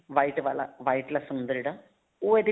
white ਵਾਲਾ white ਲੱਸਣ ਹੁੰਦਾ ਜਿਹੜਾ ਉਹ ਇਹਦੇ ਵਿੱਚ